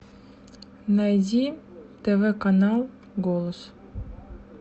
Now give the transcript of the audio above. найди тв канал голос